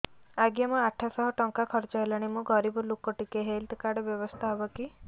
ଆଜ୍ଞା ମୋ ଆଠ ସହ ଟଙ୍କା ଖର୍ଚ୍ଚ ହେଲାଣି ମୁଁ ଗରିବ ଲୁକ ଟିକେ ହେଲ୍ଥ କାର୍ଡ ବ୍ୟବସ୍ଥା ହବ କି